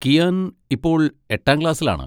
കിയാൻ ഇപ്പോൾ എട്ടാം ക്ലാസ്സിലാണ്.